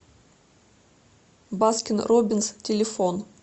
баскин робинс телефон